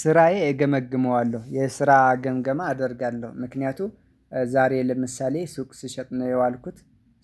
ስራዬ እገመግመዋለሁ የስራ ገምገማ አደርጋለሁ ምክንያቱም ዛሬ ለምሳሌ ሱቅ ስሸጥ ነው የዋልኩት